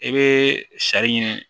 I bɛ sari ɲini